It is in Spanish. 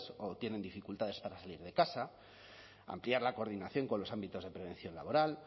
o tienen dificultades para salir de casa ampliar la coordinación con los ámbitos de prevención laboral